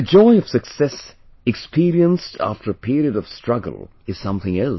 The joy of success experienced after a period of struggle is something else